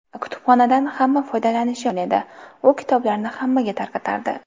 Kutubxonadan hamma foydalanishi mumkin edi, u kitoblarni hammaga tarqatardi.